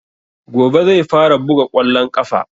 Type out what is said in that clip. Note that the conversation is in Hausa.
Gobe zai fara buga ƙwallon ƙafa